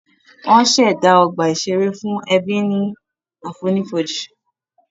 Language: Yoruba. Wọ́n ṣẹ̀dá ọgbà ìṣeré fún ẹbí ní àfonífojì